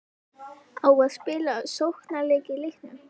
Á að spila sóknarleik í leiknum?